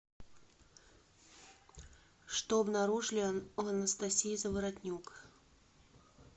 что обнаружили у анастасии заворотнюк